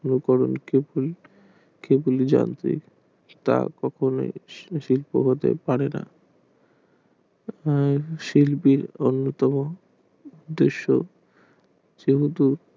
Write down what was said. কেউ যদি জানতো তা কখনোই শিল্প হতে পারে না শিল্পীর অন্যতম শিল্প দৃশ্য যেহেতু